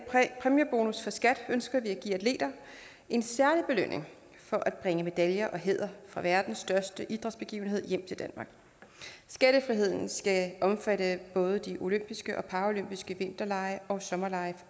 præmiebonus for skat ønsker vi at give atleter en særlig belønning for at bringe medaljer og hæder fra verdens største idrætsbegivenheder hjem til danmark skattefriheden skal omfatte både de olympiske og paraolympiske vinterlege og sommerlege